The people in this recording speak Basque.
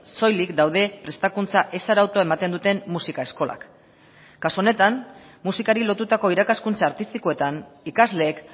soilik daude prestakuntza ez arautua ematen duten musika eskolak kasu honetan musikari lotutako irakaskuntza artistikoetan ikasleek